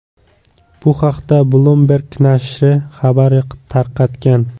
Bu haqda Bloomberg nashri xabar tarqatgan .